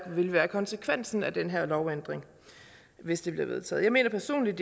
vil være konsekvensen af den her lovændring hvis den bliver vedtaget jeg mener personligt